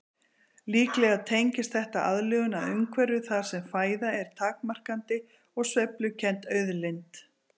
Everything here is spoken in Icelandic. Líklega tengist þetta aðlögun að umhverfi þar sem fæða er takmarkandi og sveiflukennd auðlind.